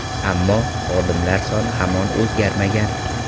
Ammo, xodimlar soni hamon o‘zgarmagan.